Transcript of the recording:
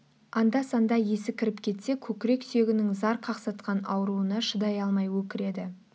анда-санда есі кіріп кетсе көкірек сүйегінің зар қақсатқан ауруына шыдай алмай өкіреді